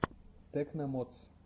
тэкно модс